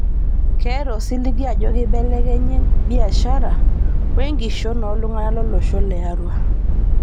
Ketaa osiligi ajo keibelekenya biashara o enkishon oo ltung'ana lo losho le Arua